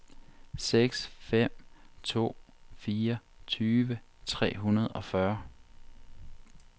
seks fem to fire tyve tre hundrede og fyrre